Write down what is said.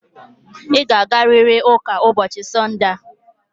Ị ga-agarịrị ụka ụbọchị Sọnde a.